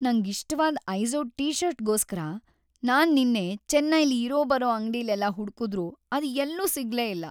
ನಂಗಿಷ್ಟವಾದ್ Izod ಟಿ-ಷರ್ಟ್‌ಗೋಸ್ಕರ ನಾನ್ ನಿನ್ನೆ ಚೆನ್ನೈಲಿ ಇರೋಬರೋ ಅಂಗ್ಡಿಲೆಲ್ಲ ಹುಡ್ಕುದ್ರೂ ಅದ್‌ ಎಲ್ಲೂ ಸಿಗ್ಲೇ ಇಲ್ಲ.